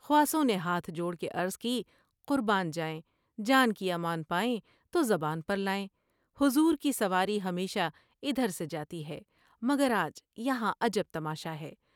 خواصوں نے ہاتھ جوڑ کے عرض کی '' قربان جائیں ، جان کی امان پائیں تو زبان پر لائیں ۔حضور کی سواری ہمیشہ ادھر سے جاتی ہے مگر آج یہاں عجب تماشا ہے ۔